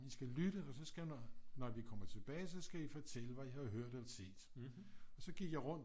I skal lytte og så skal når vi kommer tilbage så skal I fortælle hvad I har hørt og set og så gik jeg rundt